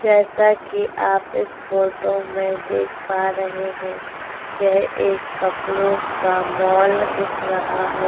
जैसा कि आप इस फोटो में देख पा रहै हैं यह एक कपड़ों का माल दिख रहा है।